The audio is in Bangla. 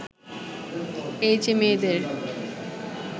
এই যে মেয়েদের